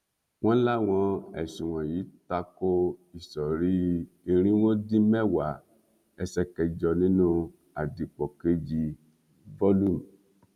wọ́n láwọn ẹ̀sùn wọ̀nyí tako ìsọ̀rí irínwó dín mẹ́wàá ẹsẹ kẹjọ nínú àdìpọ̀ kejì volume